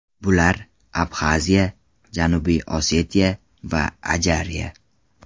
Bular – Abxaziya, Janubiy Osetiya va Ajariya.